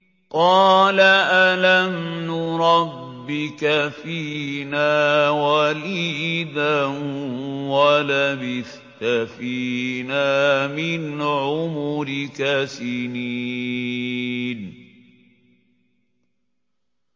قَالَ أَلَمْ نُرَبِّكَ فِينَا وَلِيدًا وَلَبِثْتَ فِينَا مِنْ عُمُرِكَ سِنِينَ